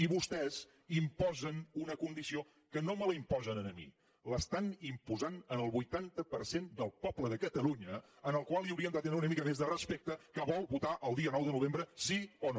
i vostès imposen una condició que no me la imposen a mi l’estan imposant al vuitanta per cent del poble de catalunya al qual haurien de tenir una mica més de respecte que vol votar el dia nou de novembre sí o no